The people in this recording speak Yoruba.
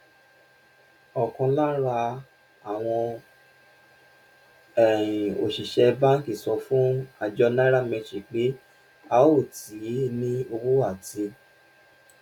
òkan lára àwọn um òṣìṣẹ banki sọ fún àjọ nairametrics pé a ò tíì ní owó àti